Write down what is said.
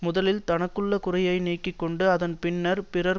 முதலில் தனக்குள்ள குறையை நீக்கி கொண்டு அதன் பின்னர் பிறர்